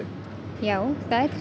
já